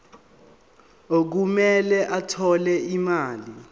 okumele athole imali